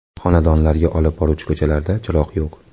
Xonadonlarga olib boruvchi ko‘chalarda chiroq yo‘q.